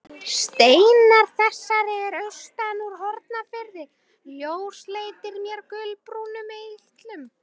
Steinar þessir eru austan úr Hornafirði, ljósleitir með gulbrúnum eitlum.